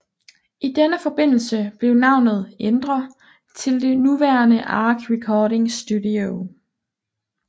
I denne forbindelse blev navnet ændre til det nuværende Ark Recording Studio